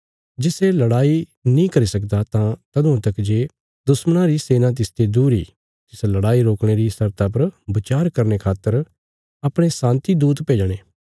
जे सै लड़ाई नीं करी सकदा तां तदुआं तक जे दुश्मणा री सेना तिसते दूर इ तिस लड़ाई रोकणे री शर्ता पर बचार करने खातर अपणे शान्ति दूत भेजणे